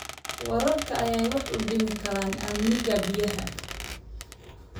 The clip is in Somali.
Waraabka ayaa wax u dhimi kara amniga biyaha.